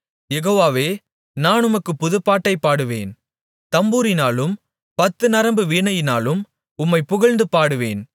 யெகோவாவே நான் உமக்குப் புதுப்பாட்டைப் பாடுவேன் தம்புரினாலும் பத்து நரம்பு வீணையினாலும் உம்மைப் புகழ்ந்து பாடுவேன்